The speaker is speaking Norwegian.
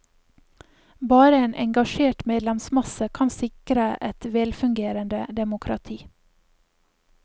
Bare en engasjert medlemsmasse kan sikre et velfungerende demokrati.